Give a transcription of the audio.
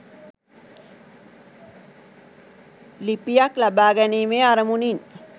ලිපියක් ලබාගැනීමේ අරමුණින්.